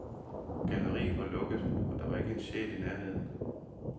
Galleriet var lukket, og der var ikke en sjæl i nærheden.